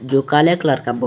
जो काले कलर का बो--